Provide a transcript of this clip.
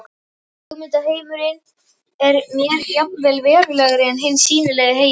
Hugmyndaheimurinn er mér jafnvel verulegri en hinn sýnilegi heimur.